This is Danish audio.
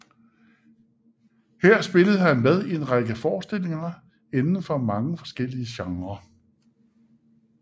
Her spillede han med i en lang række forestillinger inden for mange forskellige genrer